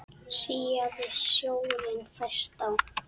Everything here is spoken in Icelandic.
Síaði sjórinn fæst á